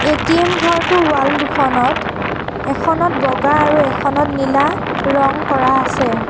ATM ঘৰটোৰ wall দুখনত এখনত বগা আৰু এখনত নীলা ৰঙ কৰা আছে।